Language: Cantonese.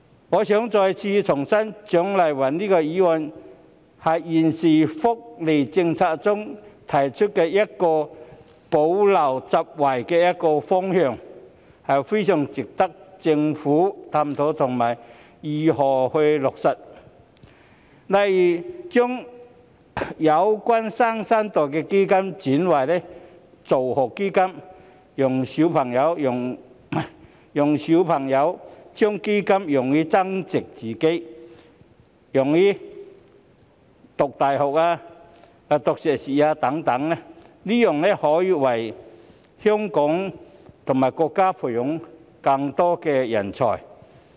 我重申，蔣麗芸議員提出的議案是就現時的福利政策，提出一個補漏拾遺的方向，非常值得政府探討如何落實，例如將"新生代基金"轉為助學基金，讓孩子將基金用於自我增值，如用於升讀大學、修讀碩士課程等，這才能為香港和國家培養更多人才。